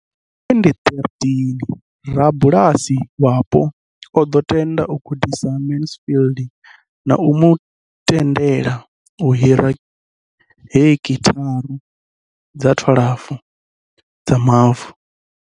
Nga 2013, rabulasi wapo o ḓo tenda u gudisa Mansfield na u mu tendela u hira heki thara dza 12 dza mavu.